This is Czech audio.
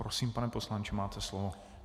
Prosím, pane poslanče, máte slovo.